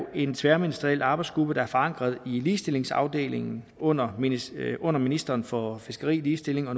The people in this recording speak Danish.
en tværministeriel arbejdsgruppe der er forankret i ligestillingsafdelingen under ministeren under ministeren for fiskeri ligestilling og